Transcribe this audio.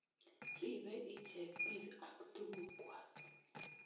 Ripei icheket piik ak tuguk kwak